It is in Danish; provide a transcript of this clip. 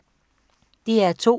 DR2